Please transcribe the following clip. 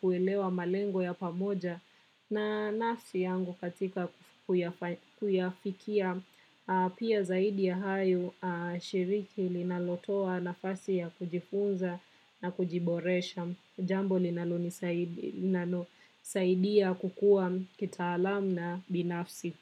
kuelewa malengo ya pamoja na nafsi yangu katika kuyafikia Pia zaidi ya hayo shiriki linalotoa nafasi ya kujifunza na kujiboresha jambo linalonisaidia kukua kitaalam na binafsi.